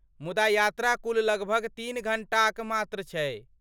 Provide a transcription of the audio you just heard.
मुदा यात्रा कुल लगभग तीन घण्टाक मात्र छै।